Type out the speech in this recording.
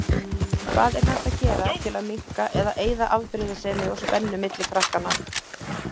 Hvað er hægt að gera til að minnka eða eyða afbrýðisemi og spennu milli krakkanna?